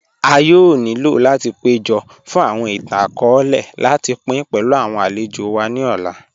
À yóò nílò láti péjọ́ fun awọn ìtàn-akọọ̀lẹ̀ láti pín pẹ̀lú awọn alẹ̀jò wa ni òlà.